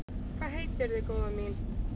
Hvað heitirðu, góða mín?